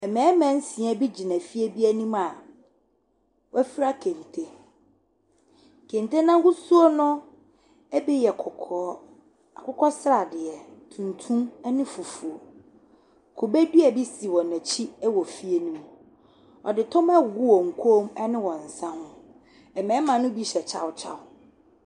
Mmarima nsia bi gyina fir bi anim a wɔafira kente. Kente no ahosuo no bi yɛ kɔkɔɔ, akokɔsradeɛ tuntum ne fufuo. Kube dua bi si wɔn akyi wɔ fie no mu. Wɔde tɔma agugu wɔn kɔn mu ne wɔn nsa ho mmarima no bi hyɛ kyawkyaw.